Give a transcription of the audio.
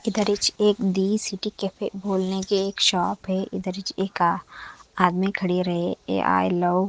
इधरिच एक the city cafe खोलने के शॉप है इधरिच इनका एक का आदमी खडे रहे ए आई लव --